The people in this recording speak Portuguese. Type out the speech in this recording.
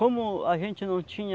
Como a gente não tinha